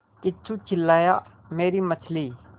किच्चू चिल्लाया मेरी मछली